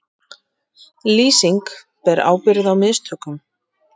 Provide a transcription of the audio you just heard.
Lýsing ber ábyrgð á mistökum